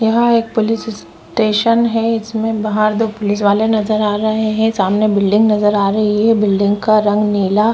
यहाँ police station है इसमें बाहर दो पुलिस वाले नज़र आ रहे है सामने बिलडिंग नज़र आ रही है बिलडिंग का रंग नीला --